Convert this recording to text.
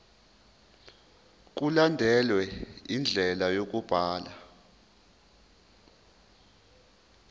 mkulandelwe indlela yokubhalwa